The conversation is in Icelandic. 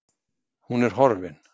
Hún er horfin